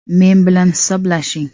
Men bilan hisoblashing.